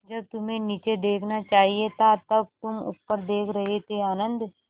जब तुम्हें नीचे देखना चाहिए था तब तुम ऊपर देख रहे थे आनन्द